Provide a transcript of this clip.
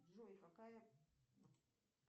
джой какая